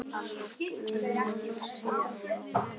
Annar búnaður sé á áætlun.